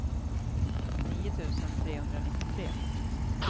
nio tusen trehundranittiotre